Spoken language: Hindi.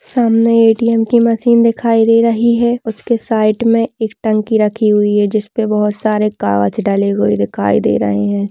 सामने ए.टी.एम. की मशीन दिखाई दे रही है उसके साइड में एक टंकी रखी हुई है जिस पे बहुत सारे कागज डले हुए दिखाई दे रहें हैं।